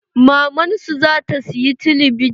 Maman su zata siyi telebijin